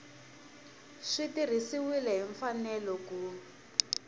swi tirhisiwile hi mfanelo ku